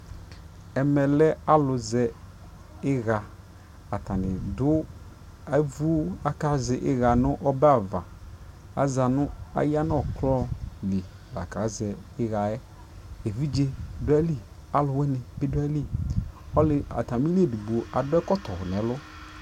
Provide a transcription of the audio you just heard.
ɛkɛ lɛ alʋ zɛ iya kʋ atani dʋ, ɛvʋ kʋazɛiya nʋ ɔbɛ aɣa kʋ ayanʋ ɔkrɔ li la ka zɛ iyaɛ, ɛvidzɛ dʋali, alʋwini bi dʋali, atamili ɛdigbɔ adʋɛkɔtɔ nʋɛlʋ